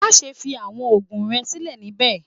Maṣe fi awọn oogun rẹ silẹ nibẹ!